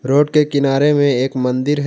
Road के किनारे में एक मंदिर है।